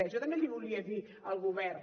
jo també li volia dir al govern